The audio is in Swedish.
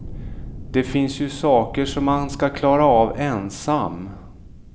Det finns ju saker som man ska klara av ensam.